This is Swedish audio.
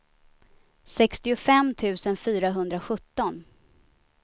sextiofem tusen fyrahundrasjutton